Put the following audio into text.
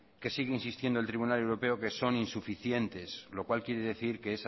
que sigue insistiendo el tribunal europeo que son insuficientes lo cual quiere decir que